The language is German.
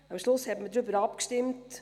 Am Schluss stimmte man darüber ab.